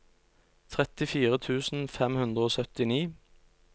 trettifire tusen fem hundre og syttini